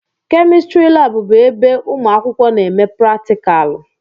Kemịstrị laabụ bụ ebe ụmụ akwụkwọ na-eme pratikaalụ.